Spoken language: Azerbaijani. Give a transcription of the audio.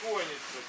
Pətixonku.